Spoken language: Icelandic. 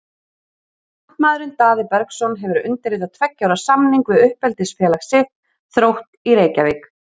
Kantmaðurinn Daði Bergsson hefur undirritað tveggja ára samning við uppeldisfélag sitt, Þrótt í Reykjavík.